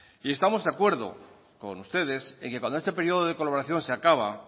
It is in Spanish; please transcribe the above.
y estamos de acuerdo con ustedes en que cuando este periodo de colaboración se acaba